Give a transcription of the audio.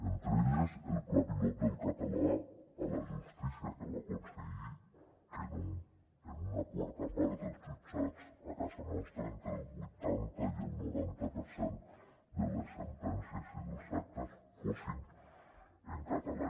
entre elles el pla pilot del català a la justícia que va aconseguir que en una quarta part dels jutjats a casa nostra entre el vuitanta i el noranta per cent de les sentències i dels actes fossin en català